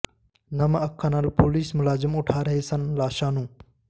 ਨਮ ਅੱਖਾਂ ਨਾਲ ਪੁਲਿਸ ਮੁਲਾਜ਼ਮ ਉਠਾ ਰਹੇ ਸਨ ਲਾਸ਼ਾਂ ਨੂੰ